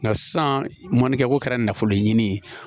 Nka sisan mɔnikɛko kɛra nafolo ɲini ye